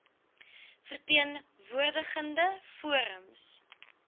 verteen woordigende forums